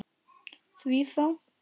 Því þá?